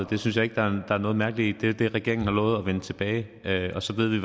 det synes jeg ikke der er noget mærkeligt i det er det regeringen har lovet at vende tilbage med og så ved vi